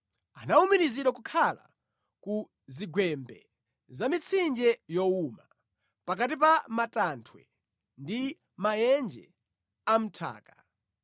Anawumirizidwa kukhala ku zigwembe za mitsinje yowuma, pakati pa matanthwe ndi mʼmaenje a mʼnthaka.